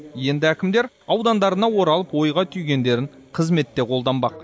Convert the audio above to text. енді әкімдер аудандарына оралып ойға түйгендерін қызметте қолданбақ